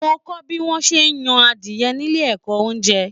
Mo kọ bí wọn ṣe n yan adiẹ nílé ẹ̀kọ́ oúnjẹ.